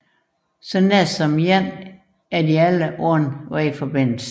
På nær en enkelt er de alle uden vejforbindelse